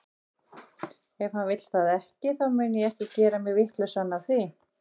Ef hann vill það ekki, þá mun ég ekki gera mig vitlausan af því.